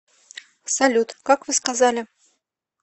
салют как вы сказали